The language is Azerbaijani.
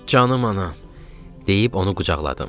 Canım anam deyib onu qucaqladım.